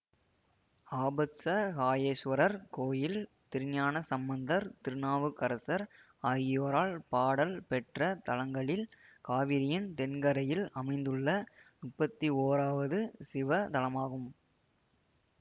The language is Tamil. ஆபத்சகாயேசுவரர் கோயில் திருஞானசம்பந்தர் திருநாவுக்கரசர் ஆகியோரால் பாடல் பெற்ற தலங்களில் காவிரியின் தென்கரையில் அமைந்துள்ள முப்பத்தி ஓராவது சிவத்தலமாகும்